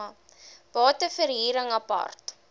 bate verhuring apart